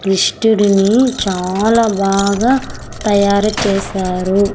కృష్టుడిని చాలా బాగా తయారు చేశారు.